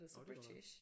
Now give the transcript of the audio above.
Jo det gør det nok